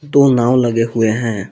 दो नाव लगे हुए हैं।